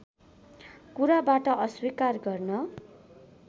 कुराबाट अस्वीकार गर्न